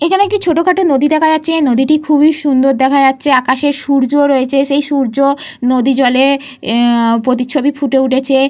এইখানে একটি ছোটখাটো নদী দেখা যাচ্ছে। নদীটি খুবই সুন্দর দেখা যাচ্ছে। আকাশে সূর্য রয়েছে। সেই সূর্য নদীজলে এহ প্রতিচ্ছবি ফুটে উঠেছে।